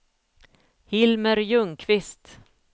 Hilmer Ljungqvist